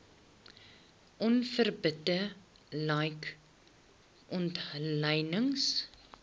onverbidde like omlynings